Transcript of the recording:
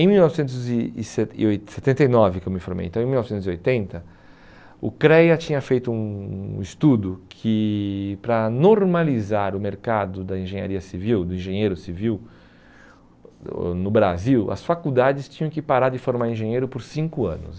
Em mil novecentos e e seten e oi setenta e nove que eu me formei, então em mil novecentos e oitenta, o CREA tinha feito um um estudo que para normalizar o mercado da engenharia civil, do engenheiro civil ãh no Brasil, as faculdades tinham que parar de formar engenheiro por cinco anos.